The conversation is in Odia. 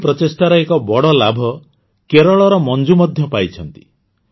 ଏହି ପ୍ରଚେଷ୍ଟାର ଏକ ବଡ଼ ଲାଭ କେରଳର ମଞ୍ଜୁ ମଧ୍ୟ ପାଇଛନ୍ତି